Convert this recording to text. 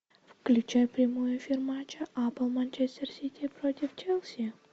включай прямой эфир матча апл манчестер сити против челси